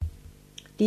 DR2